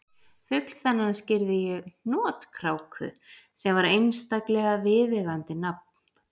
Fugl þennan skírði ég hnotkráku sem var einstaklega viðeigandi nafn